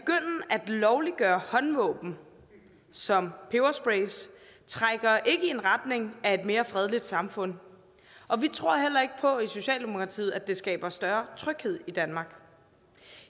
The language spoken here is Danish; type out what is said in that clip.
lovliggøre håndvåben som peberspray trækker ikke i en retning af et mere fredeligt samfund og vi tror heller ikke på i socialdemokratiet at det skaber større tryghed i danmark